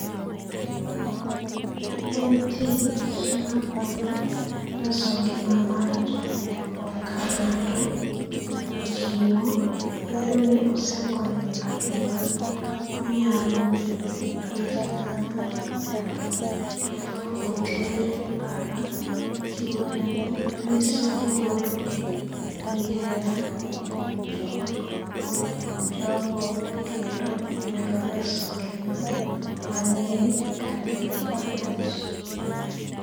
En tich mar konyo reso ngima mar jok moko ka ng'ato ochiewo bedo ni osekonyo ng'ato ma onyalo bedo gi tuoche kaka ng'ato oter e pala .Chiwo remo nyiso luoro gi hera kuom jok kuom jogo kendo nyalo reso ngima mang'eny kata ngima achiel.